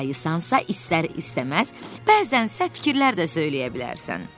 aysansa istər-istəməz bəzən səhv fikirlər də söyləyə bilərsən.